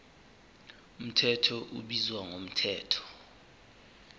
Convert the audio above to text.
mthetho ubizwa ngomthetho